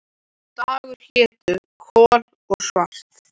Og dagarnir hétu Kol og Salt